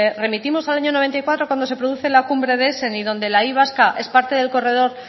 remitimos al año noventa y cuatro cuando se produce la cumbre de y donde la y vasca es parte del corredor